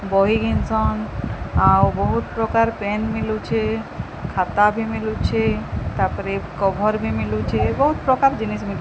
ବହି କିନିସନ୍ ଆଉ ବହୁତ୍ ପ୍ରକାର ପେନ୍ ମିଲୁଛି ଖାତା ବି ମିଲୁଛି ତାପରେ କଭର ବି ମିଲୁଛି ବହୁତ୍ ପ୍ରକାର ଜିନିଷ ମି --